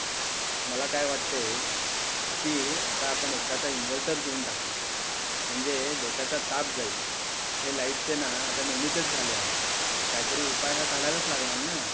मला काय वाटते कि आता आपण एकदाचा इन्व्हर्टर घेऊन टाकू म्हणजे डोक्याचा ताप जाईल हे लाईट चे ना आता नेहमीचेच झाले आहे काहीतरी उपाय हा काढायलाच लागणार ना.